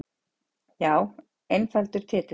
Já einfaldur titill.